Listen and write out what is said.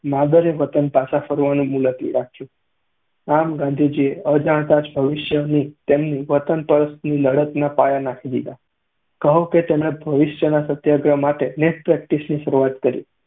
માદરે વતન પાછા ફરવાનું મુલતવી રાખ્યું. આમ, ગાંધીજીએ અજાણતાં જ ભવિષ્યની તેમની વતનપરસ્તીની લડતના પાયા નાંખી દીધા, કહો કે તેમને ભવિષ્યના સત્યાગ્રહ માટેની net practice ની શરૂઆત કરી.